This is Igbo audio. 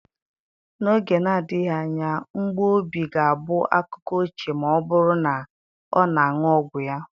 N'oge na-adịghị anya mgbu obi ga-abụ akụkọ ochie ma ọ bụrụ na ọ na-aṅụ ọgwụ ya